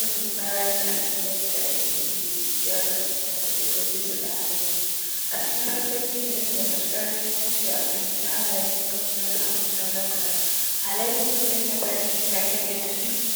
Zan yi bara ne akan yadda ake gyaran kula da dabbobi su ga hallayan su acikin harkokin da matukar mahimmanci a fahimce halayen dabbobi dan samu nasara wajen kula. Halayan dabbi ya na ba da shirin akan yanda su ke